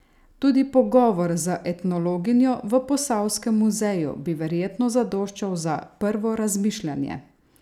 Tudi pogovor z etnologinjo v Posavskem muzeju bi verjetno zadoščal za prvo razmišljanje!